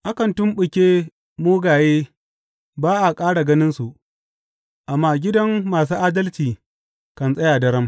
Akan tumɓuke mugaye ba a ƙara ganinsu, amma gidan masu adalci kan tsaya daram.